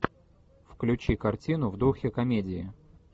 включи картину в духе комедии